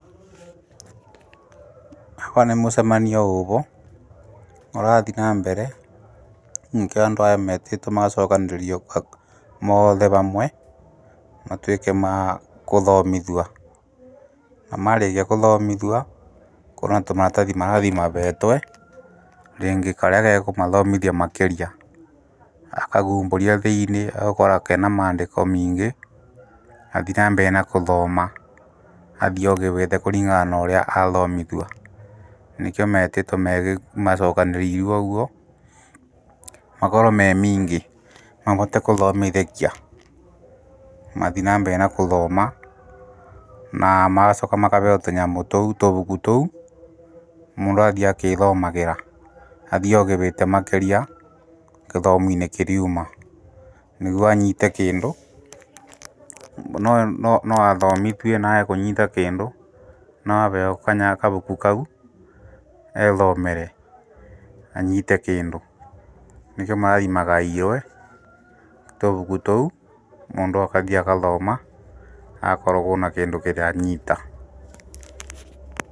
Ava nĩ mũcemanio ũvo, ũrathiĩ na mbere, nĩkĩo andũ aya metĩtwo magacokanĩrĩrio moothe vamwe matuĩke ma kũthomithua ,na marikia kũthomithua kũna tũmaratathi marathi mavetwe rĩngĩ karĩa ge kũmathoomithia makĩria, akahumbũria thĩiniĩ agakora kena mandĩko miingĩ agathi na mbere na kũthoma athiĩ ovĩgĩte kũringana norĩa athomithua, nĩkĩo metĩtwo macokanĩrĩruo ũguo makorwo me miingĩ mahote kũthomithĩkia, mathii na mbere na kũthoma, magacooka makaheo tũnyamũ tũu ,tũbuku tũu mũndũ athiĩ akĩthomagĩra athiĩ ovĩgĩte makĩria githomo-inĩ kĩriouma, nĩguo anyiite kĩndũ, no athomithio naage kũnyiita kĩndũ no aheo kabuku kau eethomere anyiite kĩndũ, nĩkĩo marathi magaĩirwe tũbuku tũu mũndũ akathi akathoma agakoragwo na kĩndũ kĩrĩa anyiita.